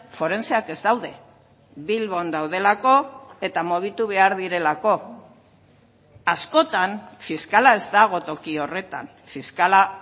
forenseak ez daude bilbon daudelako eta mugitu behar direlako askotan fiskala ez dago toki horretan fiskala